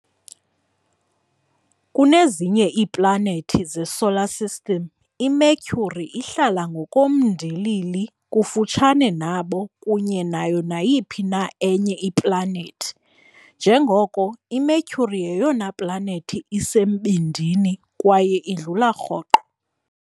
Kunezinye iiplanethi zeSolar System, iMercury ihlala ngokomndilili kufutshane nabo kunye nayo nayiphi na enye iplanethi, njengoko iMercury yeyona planethi isembindini kwaye idlula rhoqo.